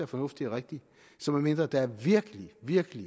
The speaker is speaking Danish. fornuftigt og rigtigt så medmindre der er virkelig virkelig